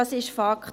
Das ist Fakt.